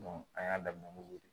an y'a daminɛ n'o ye